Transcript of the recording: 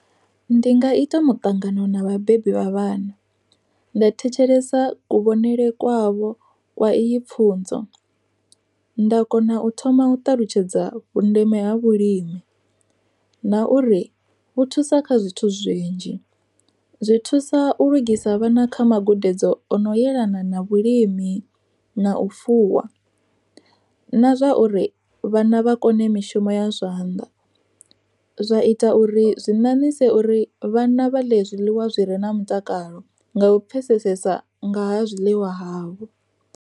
Ndi nga ita muṱangano na vhabebi vha vhana, nda thetshelesa kuvhonele kwavho kwa iyi pfhunzo. Nda kona u thoma u ṱalutshedza vhundeme ha vhulimi, na uri vhu thusa kha zwithu zwinzhi. Zwi thusa u lugisa vhana kha magudedzi ono yelana na vhulimi, na u fuwa na zwa uri vhana vha kone mishumo ya zwanḓa, zwa ita uri zwi ṋaṋise uri vhana vha ḽe zwiḽiwa zwi re na mutakalo nga u pfhesesesa nga ha zwiḽiwa havho.